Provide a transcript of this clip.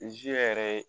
yɛrɛ ye